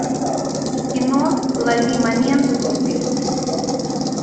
кино лови момент вруби